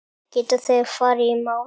Geta þeir farið í mál?